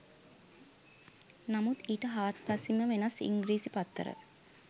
නමුත් ඊට හාත්පසින්ම වෙනස් ඉංග්‍රීසි පත්තර.